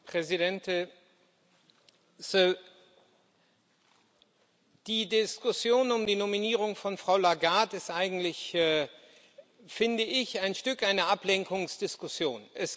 Herr Präsident! Die Diskussion um die Nominierung von Frau Lagarde ist eigentlich finde ich ein Stück eine Ablenkungsdiskussion.